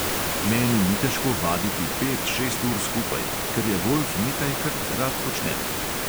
Meni ni težko vaditi pet, šest ur skupaj, ker je golf nekaj, kar rad počnem.